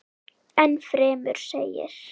Enn fremur segir